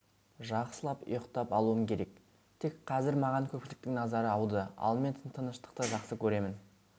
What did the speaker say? жақсылап ұйықтап алуым керек тек қазір маған көпшіліктің назары ауды ал мен тыныштықты жақсы көремін